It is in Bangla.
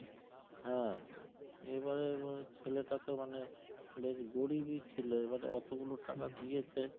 হ্যাঁ এইবারে ছেলেটা তো মানে বেশ গরিব ই ছিল এবারে ওতো গুলো টাকা দিয়েছে